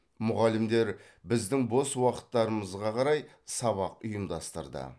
мұғалімдер біздің бос уақыттарымызға қарай сабақ ұйымдастырды